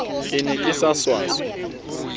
ke ne ke sa swaswe